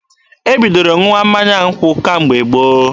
E bidoro ṅụwa mmanya nkwụ kemgbe gboo.